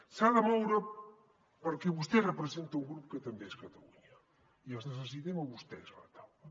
s’ha de moure perquè vostè representa un grup que també és catalunya i els necessitem a vostès a la taula